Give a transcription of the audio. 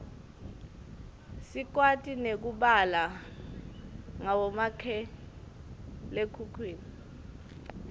sikwati nekubala ngabomakhalekhukhwini